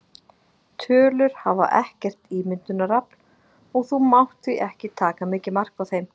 Tölur hafa ekkert ímyndunarafl og þú mátt því ekki taka mikið mark á þeim.